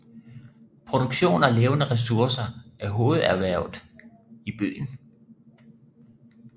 Produktion af levende ressourcer er hovederhvervet i byen